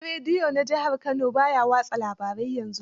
Gidan rediyo na jihar Kano ba ya watsa labarai yanzu.